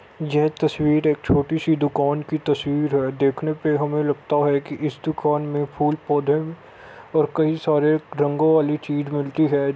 ये तस्वीर एक छोटी सी दुकान की तस्वीर है देखने पे हमें लगता है की इस दुकान फूल पौधे और कई सारे रंगों वाली चीज मिलती है।